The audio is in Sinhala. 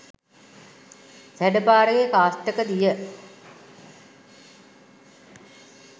සැඬ පාරේ කාස්ටක දිය